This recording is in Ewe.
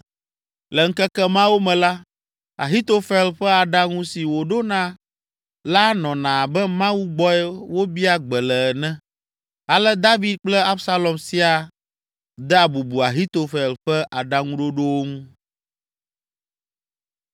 Le ŋkeke mawo me la, Ahitofel ƒe aɖaŋu si wòɖona la nɔna abe Mawu gbɔe wobia gbe le ene, ale David kple Absalom siaa dea bubu Ahitofel ƒe aɖaŋuɖoɖowo ŋu.